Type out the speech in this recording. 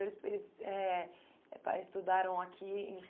então depois eles eh pa estudaram aqui em São Paulo?